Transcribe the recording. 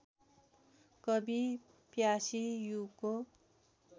कवि प्यासी युगको